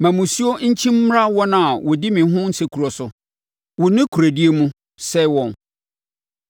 Ma mmusuo nkyim mmra wɔn a wɔdi me ho nsekuro so; wo nokorɛdie mu, sɛe wɔn.